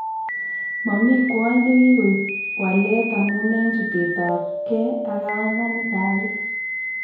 Mami kwony nekikoip walet amun en chutet ab geh ak kaumanik ab biik